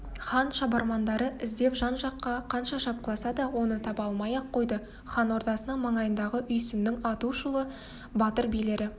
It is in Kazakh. хан шабармандары іздеп жан-жаққа қанша шапқыласа да оны таба алмай-ақ қойды хан ордасының маңайындағы үйсіннің атышулы батыр билері